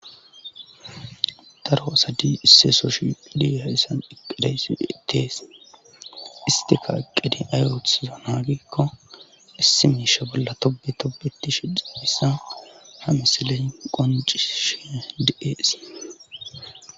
daro asadi isseso shiiliya issan iqideysieitees istika aqqidi ayotsiza naagikko issi miisha bolla tobi tobeti shidiphissa ha misiley qonci shi di7ees